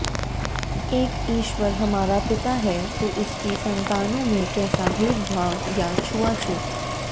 एक ईश्वर हमारा पिता है तो उसकी संतानों में कैसा भेदभाव या छुआछूत